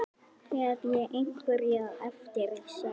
Hef ég einhverja eftirsjá?